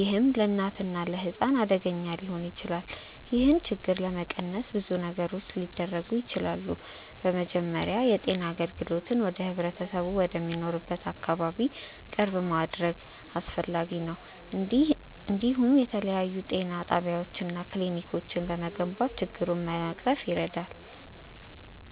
ይህም ለእናትና ለሕፃን አደገኛ ሊሆን ይችላል። ይህን ችግር ለመቀነስ ብዙ ነገሮች ሊደረጉ ይችላሉ። በመጀመሪያ የጤና አገልግሎትን ወደ ህብረተሰቡ ወደሚኖርበት አካባቢ ቅርብ ማድረግ አስፈላጊ ነው፤ እንዲሁም የተለያዩ ጤና ጣቢያዎች እና ክሊኒኮች መገንባት ችግሩን ለመቅረፍ ይረዳል።